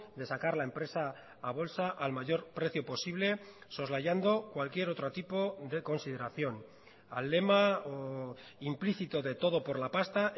de sacar la empresa a bolsa al mayor precio posible soslayando cualquier otro tipo de consideración al lema implícito de todo por la pasta